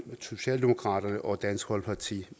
socialdemokratiet og dansk folkeparti